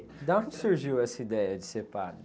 De onde surgiu essa ideia de ser padre?